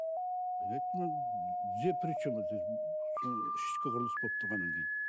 мен айттым тізе причем здесь сол ішкі құрылыс болып тұрғаннан кейін